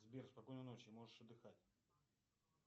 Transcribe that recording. сбер спокойной ночи можешь отдыхать